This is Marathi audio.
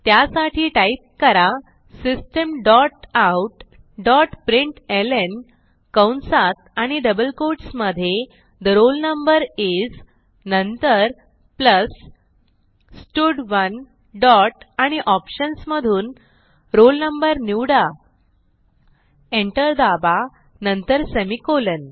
त्यासाठी टाईप करा system dot out dot println कंसात आणि डबल कोट्स मधे ठे रोल नंबर isनंतर प्लस स्टड1 डॉट आणि ऑप्शन्स मधून roll no निवडा एंटर दाबा नंतर सेमिकोलॉन